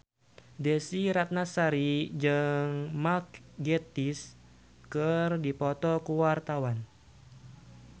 Desy Ratnasari jeung Mark Gatiss keur dipoto ku wartawan